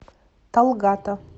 талгата